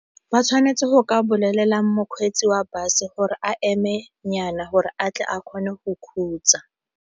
Ba tshwanetse go ka bolelela mokgweetsi wa bus gore a emenyana gore a tle a kgone go khutsa.